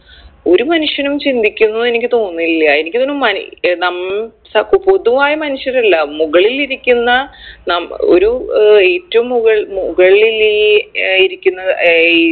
ഒരു മനുഷ്യനും ചിന്തിക്കുന്നത് എനിക്ക് തോന്നില്ല എനിക്കിതിന് മനു ഏർ നം സ പൊതുവായ മനുഷ്യരല്ല മുകളിലിരിക്കുന്ന നം ഒരു ഏർ ഏറ്റും മുകൾ മുകൾ ലില്ലീ ഇരിക്കുന്ന ഏർ ഈ